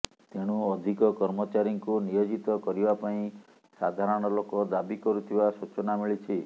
ତେଣୁ ଅଧିକ କର୍ମଚାରୀଙ୍କୁ ନିୟୋଜିତ କରିବା ପାଇଁ ସାଧାରଣ ଲୋକ ଦାବି କରୁଥିବା ସୂଚନା ମିଲିଛି